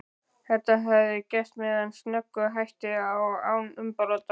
Þetta hafði gerst með snöggum hætti og án umbrota.